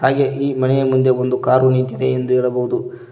ಹಾಗೆ ಈ ಮನೆಯ ಮುಂದೆ ಒಂದು ಕಾರು ನಿಂತಿದೆ ಎಂದು ಹೇಳಬೋದು.